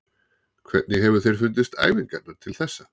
Hvernig hefur þér fundist æfingarnar til þessa?